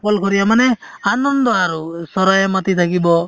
অকল শৰীয়া মানে আনান্দ আৰু চৰাই মাতি থাকিব